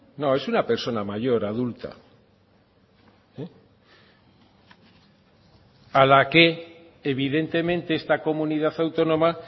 no es una persona mayor adulta a la que evidentemente esta comunidad autónoma